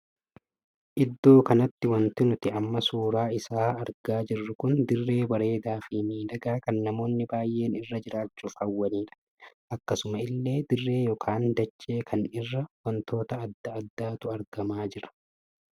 Iddoo kanatti wanti nuti amma suuraa isaa argaa jirru kun dirree bareedaa fii miidhagaa kan namoonni baay'een irra jiraachuuf hawwaniidha. akkasuma illee dirree ykn dachee kan irra wantoota addaa addaatu argamaa jira.